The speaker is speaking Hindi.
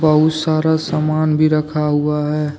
बहुत सारा सामान भी रखा हुआ है।